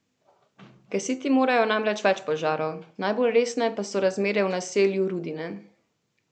Gasiti morajo namreč več požarov, najbolj resne pa so razmere v naselju Rudine.